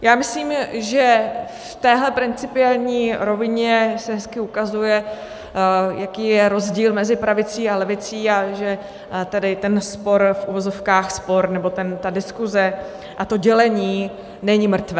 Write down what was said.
Já myslím, že v téhle principiální rovině se hezky ukazuje, jaký je rozdíl mezi pravicí a levicí, a že tedy ten spor, v uvozovkách spor, nebo ta diskuse a to dělení není mrtvé.